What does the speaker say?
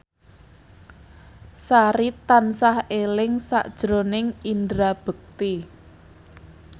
Sari tansah eling sakjroning Indra Bekti